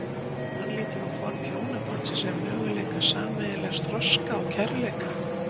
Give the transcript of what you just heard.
Hann lítur á form hjónabandsins sem möguleika sameiginlegs þroska og kærleika.